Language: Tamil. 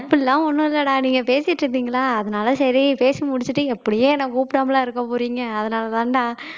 அப்படி எல்லாம் ஒண்ணும் இல்லைடா நீங்க பேசிட்டு இருந்தீங்களா அதனால சரி பேசி முடிச்சிட்டு எப்படியும் என்னை கூப்பிடாமலா இருக்கப் போறீங்க அதனாலதான்டா